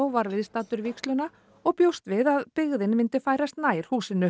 var viðstaddur vígsluna og bjóst við að byggðin myndi færast nær húsinu